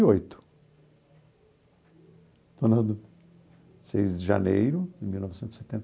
E oito estou na dúvida seis de janeiro de mil novecentos e setenta